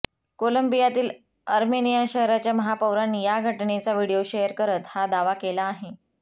कोलंबियातील Armenia शहराच्या महापौरांनी या घटनेचा व्हिडिओ शेअर करत हा दावा केला आहे